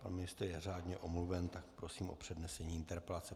Pan ministr je řádně omluven, tak prosím o přednesení interpelace.